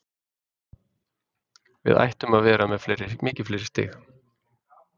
Við ættum að vera með mikið fleiri stig.